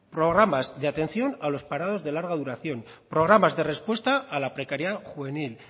programas de atención a los parados de larga duración programas de respuesta a la precariedad juvenil